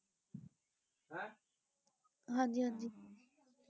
ਹੈਂ? ਹਾਂਜੀ ਹਾਂਜੀ।